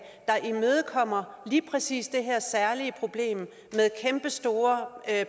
der imødekommer lige præcis det her særlige problem med kæmpestore